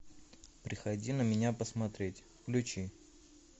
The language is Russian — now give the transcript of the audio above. приходи на меня посмотреть включи